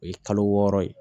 O ye kalo wɔɔrɔ ye